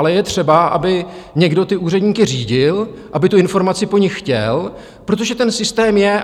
Ale je třeba, aby někdo ty úředníky řídil, aby tu informaci po nich chtěl, protože ten systém je.